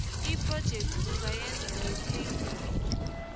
iphrojekhthi ungayenza ngetheyibuli